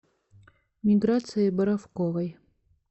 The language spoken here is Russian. миграции боровковой